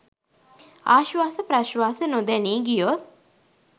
ආශ්වාස ප්‍රශ්වාස නොදැනී ගියොත්